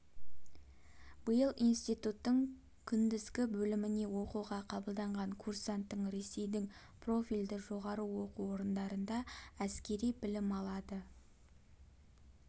биыл институттың күндізгі бөліміне оқуға қабылданған курсанттың ресейдің профильді жоғары оқу орындарында әскери білім алады